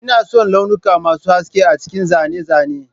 Ina son launuka masu haske a cikin zane-zane